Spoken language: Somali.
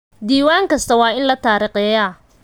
Diiwaan kasta waa in la taariikheeyaa.